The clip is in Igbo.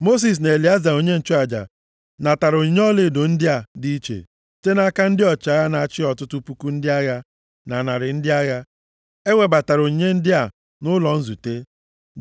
Mosis na Elieza onye nchụaja natara onyinye ọlaedo ndị a dị iche site nʼaka ndị ọchịagha na-achị ọtụtụ puku ndị agha na narị ndị agha. E webatara onyinye ndị a nʼụlọ nzute,